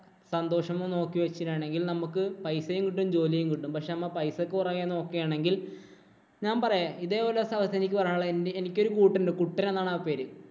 സന്തോഷവും നോക്കി വച്ചിട്ടാണെങ്കില്‍ നമുക്ക് പൈസയും കിട്ടും, ജോലിയും കിട്ടും. പക്ഷേ, നമ്മ പൈസക്ക് പിറകെ നോക്കുകയാണെങ്കില്‍ ഞാന്‍ പറയാം ഇതേ പോലെ ഒരു അവസ്ഥ എനിക്ക് പറയാനുള്ളത് എന്‍റെ എനിക്കൊരു കൂട്ടുണ്ട്. കുട്ടന്‍ എന്നാണ് ആ പേര്.